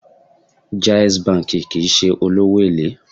Jais banki kìí ṣe olówó èlé.